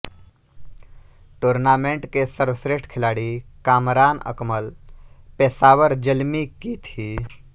tournament के सर्वश्रेष्ठ खिलाड़ी कामरान अकमल पेशावर ज़ल्मी की थी